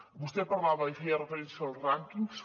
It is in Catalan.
vostè parlava i feia referència als rànquings